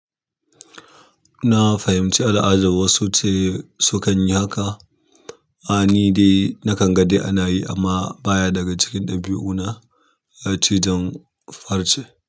Na fahimci al'adar wasu ce sukan yi haka. A ni dai nakan ga dai ana yi amma baya daga cikin ɗabi'una. A ce jjan farce.